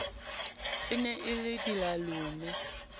e ne e le dilalome